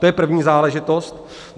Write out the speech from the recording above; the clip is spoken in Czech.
To je první záležitost.